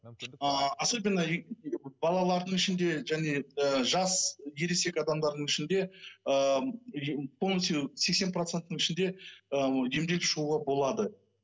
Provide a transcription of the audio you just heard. а особенно балалардың ішінде және ы жас ересек адамдардың ішінде ыыы полностью сексен проценттің ішінде ы емделіп шығуға болады